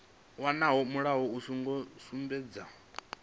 wonoyo mulayo u songo sumbedzwa